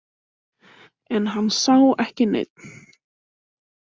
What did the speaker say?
En hann sá ekki neinn.